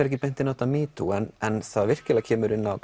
ekki beint inn á þetta metoo en það virkilega kemur inn á